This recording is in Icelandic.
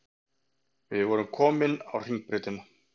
Við vorum komin á Hringbrautina.